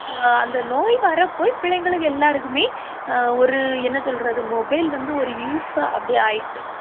அஹ் அந்த நோய் வரப்போய் பிள்ளைங்களுக்கு எல்லாருக்குமே அஹ் ஒரு என்ன சொல்றது mobile வந்து ஒரு use ஆ அப்படி ஆயிட்டு